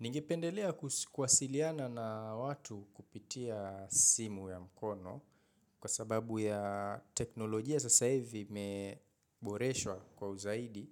Ningependelea kuwasiliana na watu kupitia simu ya mkono kwa sababu ya teknolojia sasa hivi imeboreshwa kwa uzaidi.